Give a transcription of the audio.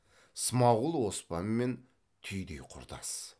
смағұл оспанмен түйдей құрдас